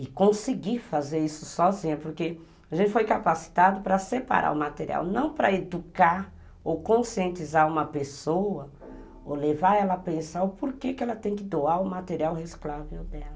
E conseguir fazer isso sozinha, porque a gente foi capacitado para separar o material, não para educar ou conscientizar uma pessoa, ou levar ela a pensar o porquê que ela tem que doar o material resclável dela.